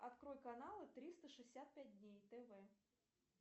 открой каналы триста шестьдесят пять дней тв